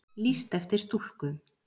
Lýst eftir stúlku